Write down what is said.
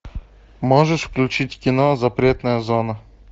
можешь включить кино запретная зона